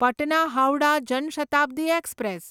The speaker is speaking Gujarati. પટના હાવડા જન શતાબ્દી એક્સપ્રેસ